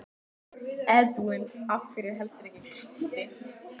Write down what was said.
Þéttur kliður radda berst ofan af annarri hæðinni, sem